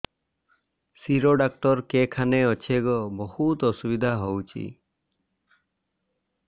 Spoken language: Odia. ଶିର ଡାକ୍ତର କେଖାନେ ଅଛେ ଗୋ ବହୁତ୍ ଅସୁବିଧା ହଉଚି